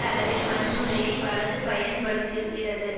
அளவில் வன்முறையை வலது பயன்படுத்துகிறது